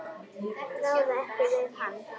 Ráða ekki við hann.